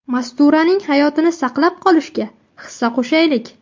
Masturaning hayotini saqlab qolishga hissa qo‘shaylik!